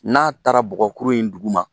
N'a taara bɔgɔkuru in dugu ma